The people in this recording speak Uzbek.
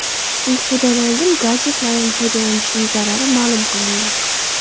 Uyqudan oldin gadjetlardan foydalanishning zarari ma’lum qilindi.